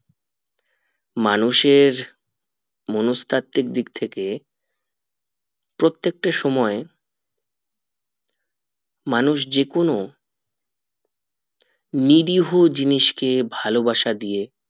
মানুষের মনস্তাত্ত্বিক দিক থেকে প্রত্যেকটা সময় মানুষ যে কোনো নিরীহ জিনিস কে ভালোবাসা দিয়ে